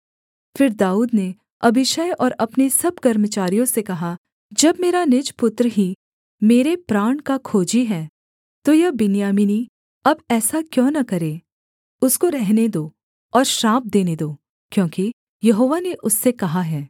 फिर दाऊद ने अबीशै और अपने सब कर्मचारियों से कहा जब मेरा निज पुत्र ही मेरे प्राण का खोजी है तो यह बिन्यामीनी अब ऐसा क्यों न करे उसको रहने दो और श्राप देने दो क्योंकि यहोवा ने उससे कहा है